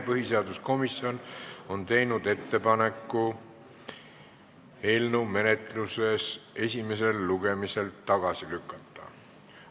Põhiseaduskomisjon on teinud ettepaneku eelnõu esimesel lugemisel tagasi lükata.